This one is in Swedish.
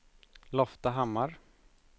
Loftahammar